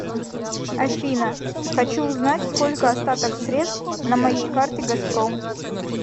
афина хочу узнать сколько остаток средств на моей карте газпром